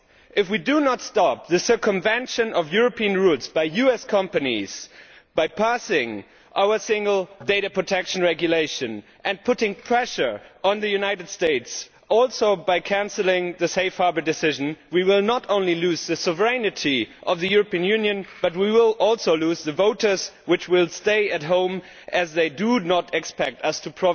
If we do not stop the circumvention of European rules by US companies by passing our single data protection regulation and putting pressure on the United States and also by cancelling the Safe Harbour decision we will not only lose the sovereignty of the European Union but we will also lose the voters, who will stay at home, as they do not expect us